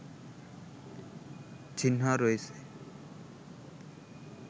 চিহ্ন রয়েছে